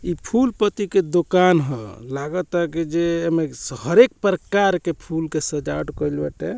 इ फूल पत्ती के दुकान ह लागता की जे में हरेक प्रकार के फूल के सजावट कइल बाटे।